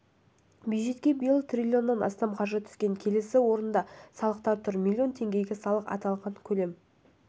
бюджетке биыл триллион астам қаржы түскен келесі орында салықтар тұр миллион теңге салық аталған төлем